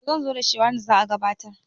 to zan zo da shi ranar da za a gabatar